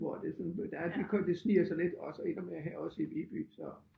Hvor det sådan der er det sniger sig lidt også endnu mere her også i Viby så